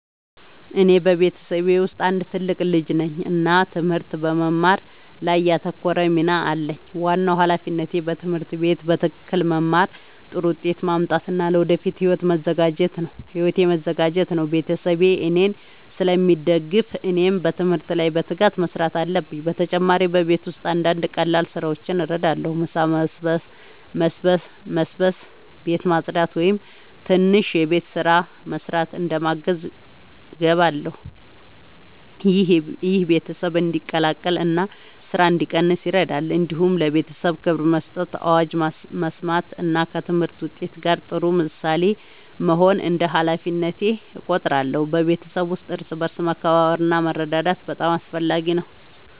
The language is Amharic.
እኔ በቤተሰቤ ውስጥ አንድ ትልቅ ልጅ ነኝ እና ትምህርት በመማር ላይ ያተኮረ ሚና አለኝ። ዋናው ሃላፊነቴ በትምህርት ቤት በትክክል መማር፣ ጥሩ ውጤት ማምጣት እና ለወደፊት ሕይወቴ መዘጋጀት ነው። ቤተሰቤ እኔን ስለሚደግፉ እኔም በትምህርት ላይ በትጋት መስራት አለብኝ። በተጨማሪ በቤት ውስጥ አንዳንድ ቀላል ስራዎችን እረዳለሁ። ምሳ መስበስ፣ ቤት ማጽዳት ወይም ትንሽ የቤት ስራ መስራት እንደ ማገዝ እገባለሁ። ይህ ቤተሰብ እንዲቀላቀል እና ስራ እንዲቀንስ ይረዳል። እንዲሁም ለቤተሰቤ ክብር መስጠት፣ አዋጅ መስማት እና ከትምህርት ውጤት ጋር ጥሩ ምሳሌ መሆን እንደ ሃላፊነቴ እቆጥራለሁ። በቤተሰብ ውስጥ እርስ በርስ መከባበር እና መረዳዳት በጣም አስፈላጊ ነው።